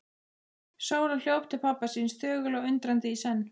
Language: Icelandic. Sóla hljóp til pabba síns, þögul og undrandi í senn.